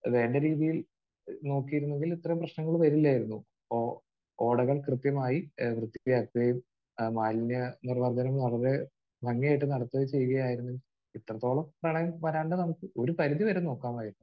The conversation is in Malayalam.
വേണ്ട രീതിയിൽ നോക്കിയിരുന്നുവെങ്കിൽ ഇത്രയും പ്രശ്നങ്ങൾ വരില്ലായിരുന്നു. ഓ ഓടകൾ കൃത്യമായി ഏഹ് വൃത്തിയാക്കുകയും മാലിന്യ നിർമാർജനം വളരെ ഭംഗിയായിട്ട് നടത്തുകയും ചെയ്യുകയായിരുന്നുവെങ്കിൽ ഇത്രത്തോളം പ്രളയം വരാതെ നമുക്ക് ഒരു പരുധി വരെ നോക്കാമായിരുന്നു.